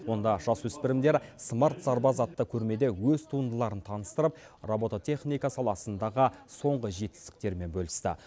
онда жасөспірімдер смарт сарбаз атты көрмеде өз туындыларын таныстырып робототехника саласындағы соңғы жетістіктерімен бөлісті